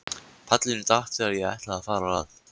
Pallurinn datt þegar ég ætlaði að fara að.